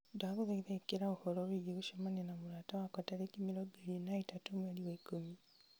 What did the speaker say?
ndagũthaitha ĩkĩra ũhoro wĩĩgiĩ gũcemania na mũrata wakwa tarĩki mĩrongo ĩrĩ na ĩtatũ mweri wa ikũmi